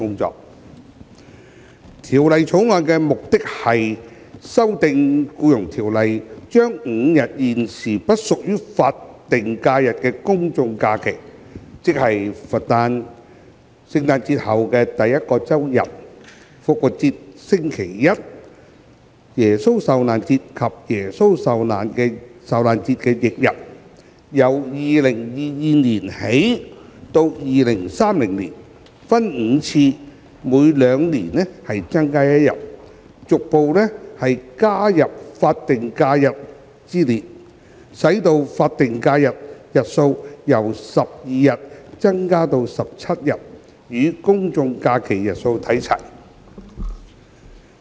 《2021年僱傭條例草案》的目的是修訂《僱傭條例》，將5日現時不屬於法定假日的公眾假期，即佛誕、聖誕節後第一個周日、復活節星期一、耶穌受難節及耶穌受難節翌日，由2022年起至2030年，分5次每兩年增加一日，逐步加入法定假日之列，使法定假日日數由12日增加至17日，與公眾假期日數看齊。